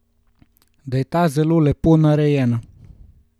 Da je ta zelo lepo narejena.